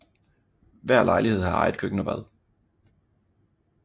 Hver lejlighed har eget køkken og bad